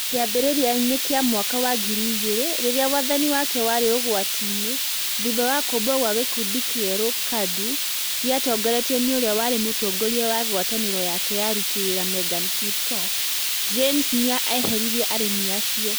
Kĩambĩrĩriainĩ kĩa mwaka wa ngiri ĩgirĩ, rĩrĩa wathani wake warĩ ũgwati-inĩ thutha wa kũmbwo kwa gĩkundi kĩerũ, KADU, gĩatongoretio nĩ ũrĩa warĩ mũtongoria wa ngwatanĩro yake ya aruti wĩra megan kipto, James nĩ eheririe arĩmi acio